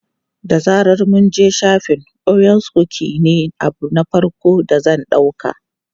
Da zaran mun je shafin, orea kukis ne abu na farko da zan ɗauka.